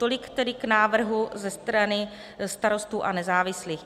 Tolik tedy k návrhu ze strany Starostů a nezávislých.